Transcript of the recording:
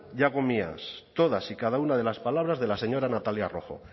y hago mías todas y cada una de las palabras de la señora natalia rojo